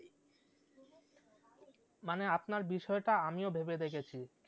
মানে আপনার বিষয়টা আমিও ভেবে দেখেছি